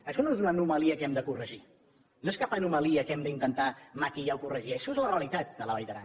això no és una anomalia que hem de corregir no és cap anomalia que hem d’intentar maquillar o corregir això és la realitat de la vall d’aran